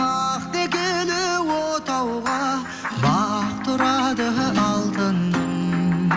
ақ текілі отауға бақ тұрады алтыным